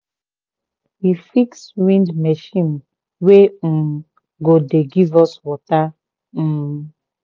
we fix wind machine wey um go dey give us water. um